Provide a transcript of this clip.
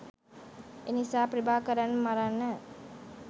එනිසා ප්‍රභාකරන් මරන්න